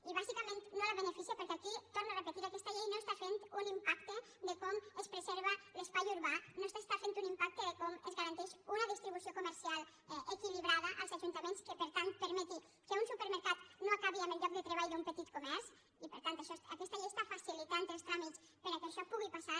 i bàsicament no la beneficia perquè aquí ho torno a repetir aquesta llei no està fent un impacte de com es preserva l’es·pai urbà no s’està fent un impacte de com es garan·teix una distribució comercial equilibrada als ajunta·ments que per tant permeti que un supermercat no acabi amb el lloc de treball d’un petit comerç i per tant això aquesta llei està facilitant els tràmits per·què això pugui passar